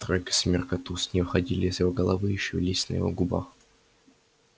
тройка семёрка туз не выходили из его головы и шевелились на его губах